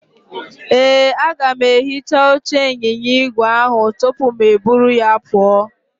Ee, aga m ehicha oche ịnyịnya igwe ahụ tupu mụ eburu ya pụọ.